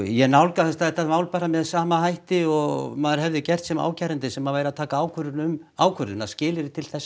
ég nálgaðist þetta mál bara með sama hætti og maður hefði gert sem ákærandi sem væri að taka ákvörðun um ákvörðunina skilyrði til þess